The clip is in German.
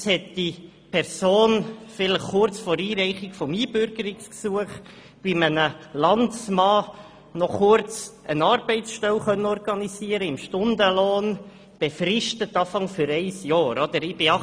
Vielleicht hat diese Person kurz vor Einreichung des Einbürgerungsgesuchs bei einem Landsmann eine Arbeitsstelle im Stundenlohn, vorerst auf ein Jahr befristet, organisieren können.